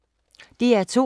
DR2